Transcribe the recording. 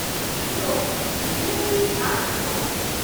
-ᱤᱧ ᱫᱚ ᱱᱤᱦᱟᱹᱛ ᱜᱮᱧ ᱟᱫᱽ ᱠᱚᱜᱼᱟ ᱾